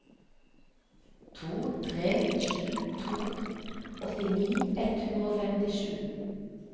to tre sju to åttini ett hundre og femtisju